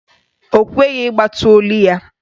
Ọ kweghị ịgbatị olu ya.